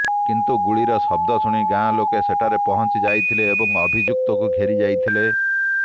କିନ୍ତୁ ଗୁଳିର ଶବ୍ଦ ଶୁଣି ଗାଁଲୋକେ ସେଠାରେ ପହଞ୍ଚି ଯାଇଥିଲେ ଏବଂ ଅଭିଯୁକ୍ତକୁ ଘେରି ଯାଇଥିଲେ